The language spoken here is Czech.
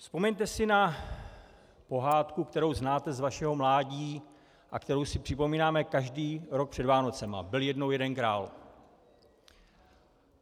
Vzpomeňte si na pohádku, kterou znáte z vašeho mládí a kterou si připomínáme každý rok před Vánocemi - Byl jednou jeden král.